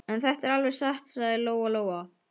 En þetta er alveg satt, sagði Lóa-Lóa.